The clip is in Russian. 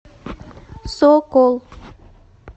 сокол